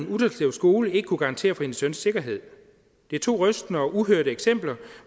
utterslev skole ikke kunne garantere for hendes søns sikkerhed det er to rystende og uhørte eksempler